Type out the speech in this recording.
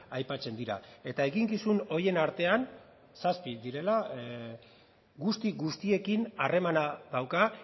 aipatzen dira eta eginkizun horien artean zazpi direla guzti guztiekin harremana dauka